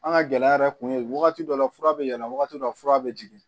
An ka gɛlɛya yɛrɛ kun ye wagati dɔ la fura bɛ yɛlɛ wagati dɔ la fura bɛ jigin